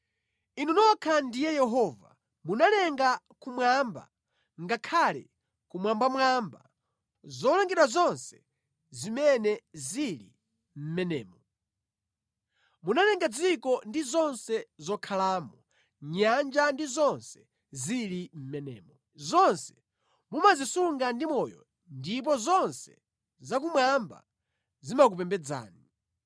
Inu nokha ndiye Yehova. Munalenga kumwamba, ngakhale kumwambamwamba, zolengedwa zonse zimene zili mʼmenemo. Munalenga dziko ndi zonse zokhalamo, nyanja ndi zonse zili mʼmenemo. Zonse mumazisunga ndi moyo ndipo zonse za kumwamba zimakupembedzani.